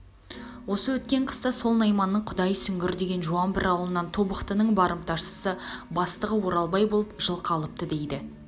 осы өткен қыста сол найманның құдай сүгір деген жуан бір аулынан тобықтының барымташысы бастығы оралбай болып жылқы алыпты дейді